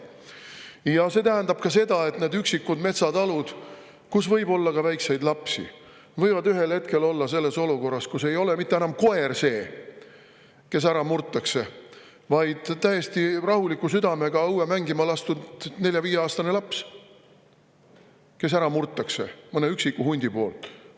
Ja see tähendab ka seda, et need üksikud metsatalud, kus võib olla ka väikseid lapsi, võivad ühel hetkel olla olukorras, kus ei ole mitte enam koer see, kes ära murtakse, vaid täiesti rahuliku südamega õue mängima lastud nelja-viieaastane laps murtakse ära mõne üksiku hundi poolt.